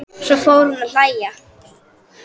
Köntuð hornin urðu ávöl.